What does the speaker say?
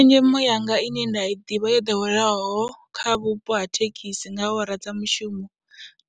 Tshenzhemo yanga ine nda i ḓivha yo ḓoweleaho kha vhupo ha thekhisi nga awara dza mushumo,